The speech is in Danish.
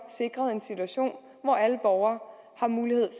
sikret en situation hvor alle borgere har mulighed